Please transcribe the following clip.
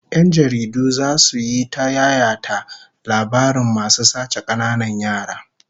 Yan jaridu zasu yi ta yayata labarin masu sace kananan yara